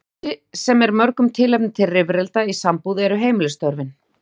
Eitt af því sem er mörgum tilefni til rifrilda í sambúð eru heimilisstörfin.